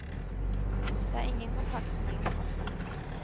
Det er ingen kontakt mellom partene.